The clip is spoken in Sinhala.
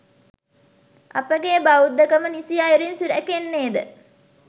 අපගේ බෞද්ධකම නිසි අයුරින් සුරැකෙන්නේද?